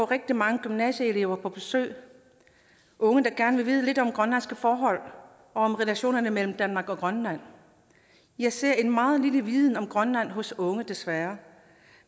rigtig mange gymnasieelever på besøg unge der gerne ville vide lidt om grønlandske forhold og om relationerne mellem danmark og grønland jeg ser en meget lille viden om grønland hos unge desværre